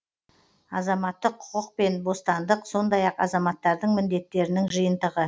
азаматтық құқық пен бостандық сондай ақ азаматтардың міндеттерінің жиынтығы